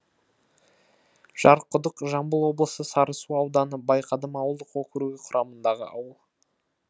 жарқұдық жамбыл облысы сарысу ауданы байқадам ауылдық округі құрамындағы ауыл